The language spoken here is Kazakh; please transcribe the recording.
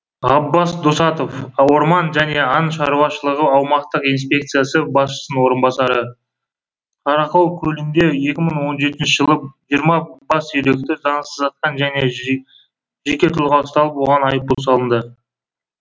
ғаббас досатов аорман және аң шаруашылығы аумақтық инспекциясы басшысының орынбасары қаракол көлінде екі мың он жетінші жылы жиырма бас үйректі заңсыз атқан жеке тұлға ұсталып оған айыппұл салынды